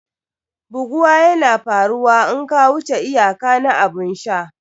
Buguwa yana faruwa in ka wuce iyaka na abun sha.